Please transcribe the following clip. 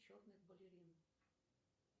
черных балерин